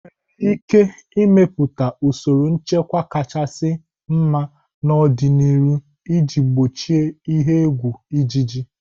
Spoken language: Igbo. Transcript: Enwere ike ịmepụta usoro nchịkwa kachasị mma n'ọdịniihu iji gbochie ihe egwu ịjiji.